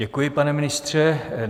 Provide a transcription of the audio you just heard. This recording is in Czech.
Děkuji, pane ministře.